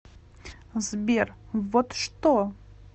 сбер вот что